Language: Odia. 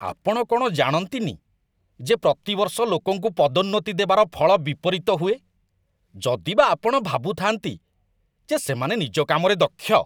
ଆପଣ କ'ଣ ଜାଣନ୍ତିନି ଯେ ପ୍ରତିବର୍ଷ ଲୋକଙ୍କୁ ପଦୋନ୍ନତି ଦେବାର ଫଳ ବିପରୀତ ହୁଏ, ଯଦିବା ଆପଣ ଭାବୁଥାନ୍ତି ଯେ ସେମାନେ ନିଜ କାମରେ ଦକ୍ଷ?